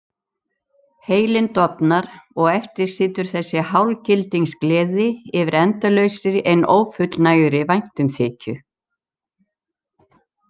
Heilinn dofnar og eftir situr þessi hálfgildings gleði yfir endalausri en ófullnægðri væntumþykju.